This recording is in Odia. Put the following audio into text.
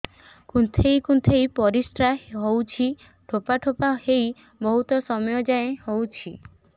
କୁନ୍ଥେଇ କୁନ୍ଥେଇ ପରିଶ୍ରା ହଉଛି ଠୋପା ଠୋପା ହେଇ ବହୁତ ସମୟ ଯାଏ ହଉଛି